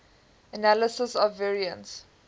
analysis of variance